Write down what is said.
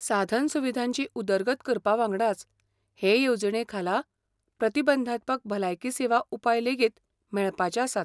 साधनसुविधांची उदरगत करपावांगडाच, हे येवजणे खाला प्रतिबंधात्मक भलायकी सेवा उपाय लेगीत मेळपाचेआसात.